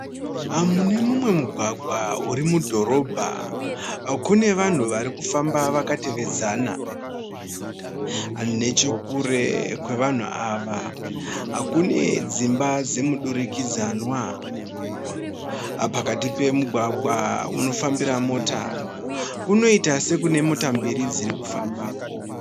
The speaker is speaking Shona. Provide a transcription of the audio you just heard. Mune mumwe mugwagwa uri mudhorobha, kune vanhu vari kufamba vakatevedzana. Nechekure kwevanhu ava , kune dzimba dzemudurikidzanwa. Pakati pemugwagwa unofambira mota kunoita sekune mota mbiri dzirikufamba ko.